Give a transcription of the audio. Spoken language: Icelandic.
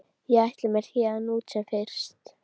Ég ætla mér héðan út sem fyrst.